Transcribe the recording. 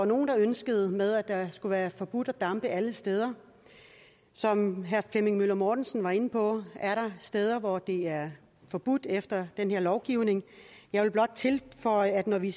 nogle ønskede med at det skulle være forbudt at dampe alle steder som herre flemming møller mortensen var inde på er der steder hvor det er forbudt efter den her lovgivning jeg vil blot tilføje at når vi